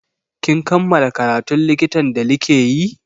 Kin kammala karatun likitan da like yi?